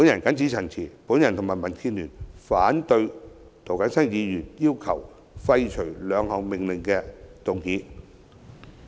謹此陳辭，我和民建聯反對涂謹申議員要求廢除兩項命令的擬議決議案。